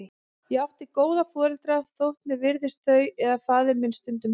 Ég átti góða foreldra, þótt mér virtist þau eða faðir minn stundum hörð.